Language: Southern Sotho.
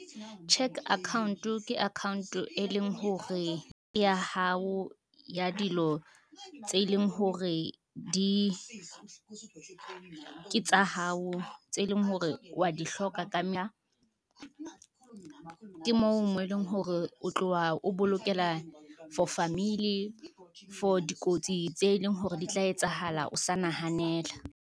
Cheque account-o ke account-o e leng hore ya hao ya dilo tse leng hore ke tsa hao tse leng hore wa di hloka . Ke moo eleng hore o tlowa o bolokela for famili, for dikotsi tse leng hore di tla etsahala o sa nahanela.